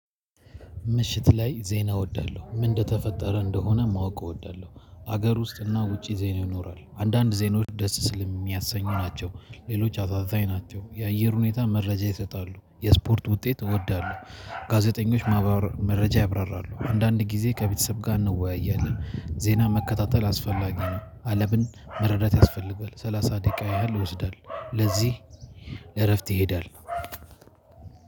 ምሽት ላይ ዜና እወዳለሁ ምን እንደተፈጠረ እንደሆነ ማወቅ እወዳለሁ። ሀገር ውስጥ እና ውጪ ዜና ይኖራል አንዳንድ ዜናዎች ደስ ስለሚያሰኝ ናቸው። ሌሎች አሳዘኝ ናቸው የአየር ሁኔታ መረጃ ይሰጣሉ የስፖርት ውጤት እወዳለሁ። ጋዜጠኞች መረጃ ያብራራሉ። አንዳንድ ጊዜ ከቤተሰብ ጋር እንወያያለን ዜና መከታተል አስፈላጊ ነው። አልምን መረዳት ያስፈልጋል ሰላሳ ደቂቃ ያህል ይወስዳል። ለዚህ እረፍት ይሄዳል።